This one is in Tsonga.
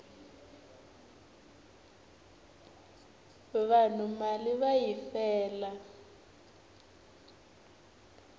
vanhu mali va yi fela